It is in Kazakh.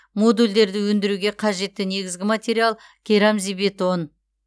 модульдерді өндіруге қажетті негізгі материал керамзитбетон